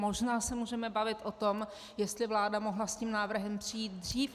Možná se můžeme bavit o tom, jestli vláda mohla s tím návrhem přijít dřív.